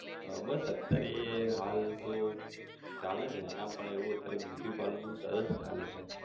આહ બસ અત્યારે એ હાલ તો ચાલે છે એના પણ એવું અત્યારે beauty parlour નું સરસ ચાલે છે.